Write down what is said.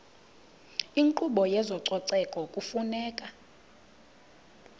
inkqubo yezococeko kufuneka